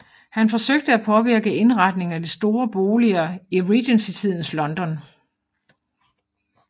Han forsøgte at påvirke indretningen af de store boliger i regencytidens London